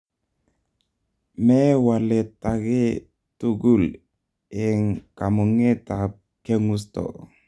me walet age tugul en kamuget ab keng'usto